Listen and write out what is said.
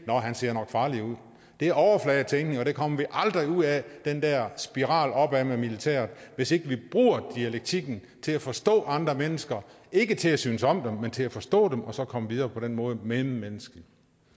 nå han ser nok farlig ud det er overfladetænkning og vi kommer aldrig ud af den der spiral opad med militæret hvis ikke vi bruger dialektikken til at forstå andre mennesker ikke til at synes om dem men til at forstå dem og så komme videre på den måde mellemmenneskeligt